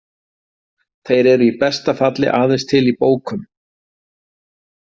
Þeir eru í besta falli aðeins til í bókum.